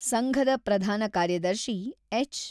ಸಂಘದ ಪ್ರಧಾನ ಕಾರ್ಯದರ್ಶಿ ಎಚ್.